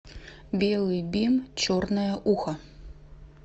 белый бим черное ухо